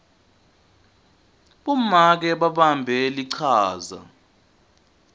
bomake babambe lichaza